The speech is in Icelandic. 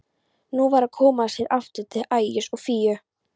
Nú var að koma sér aftur til Ægis og Fíu.